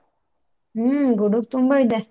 ಹ್ಮ್, ಗುಡುಗು ತುಂಬಾ ಇದೆ.